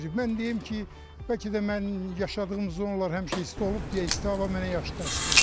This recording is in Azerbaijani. Mən deyim ki, bəlkə də mən yaşadığım zonalar həmişə isti olub deyə isti hava mənə yaxşı təsir eləyir.